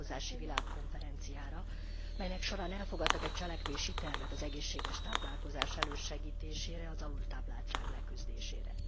Táplálkozási Világkonferenciára, melynek során elfogadtak egy cselekvési tervet az egészséges táplálkozás elősegítésére, az alultápláltság leküzdésére.